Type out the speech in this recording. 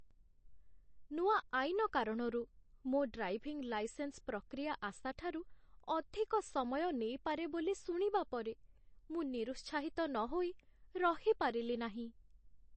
ନୂଆ ଆଇନ କାରଣରୁ, ମୋ ଡ୍ରାଇଭିଂ ଲାଇସେନ୍ସ ପ୍ରକ୍ରିୟା ଆଶାଠାରୁ ଅଧିକ ସମୟ ନେଇପାରେ ବୋଲି ଶୁଣିବା ପରେ, ମୁଁ ନିରୁତ୍ସାହିତ ନହୋଇ ରହିପାରିଲିନାହିଁ।